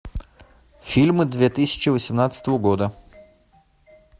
фильмы две тысячи восемнадцатого года